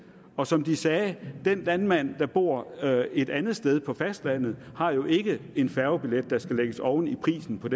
og som de sagde den landmand der bor et andet sted nemlig på fastlandet har jo ikke en færgebillet der skal lægges oven i prisen på